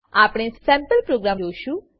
આપણે sample program જોશું